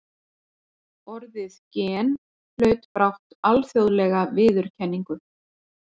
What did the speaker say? Orðið gen hlaut brátt alþjóðlega viðurkenningu.